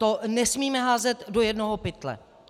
To nesmíme házet do jednoho pytle.